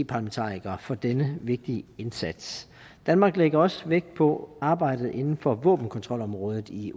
parlamentarikere for denne vigtige indsats danmark lægger også vægt på arbejdet inden for våbenkontrolområdet i